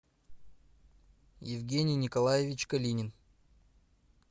евгений николаевич калинин